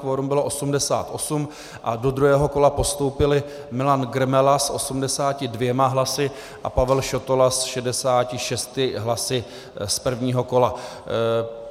Kvorum bylo 88 a do druhého kola postoupili: Milan Grmela s 82 hlasy a Pavel Šotola s 66 hlasy z prvního kola.